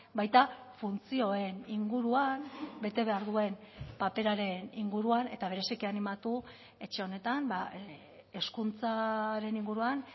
baita funtzioen inguruan bete behar duen paperaren inguruan eta bereziki animatu etxe honetan hezkuntzaren inguruan